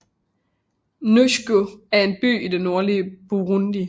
Ngozi er en by i det nordlige Burundi